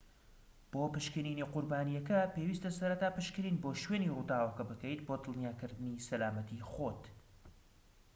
بۆ پشکنینی قوربانیەکە پێویستە سەرەتا پشکنین بۆ شوێنی ڕووداوەکە بکەیت بۆ دڵنیاکردنی سەلامەتی خۆت